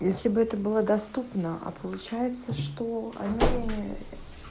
если бы это было доступно а получается что они